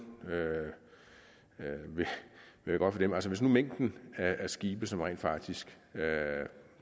vil være godt for dem altså hvis nu mængden af skibe som rent faktisk